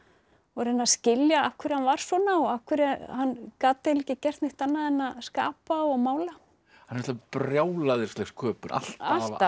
og reyna að skilja af hverju hann var svona og af hverju hann gat eiginlega ekki gert neitt annað en að skapa og mála það er brjálæðisleg sköpun alltaf